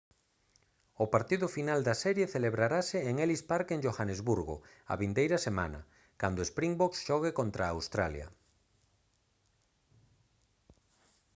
o partido final da serie celebrarase en ellis park en johannesburgo a vindeira semana cando springboks xogue contra australia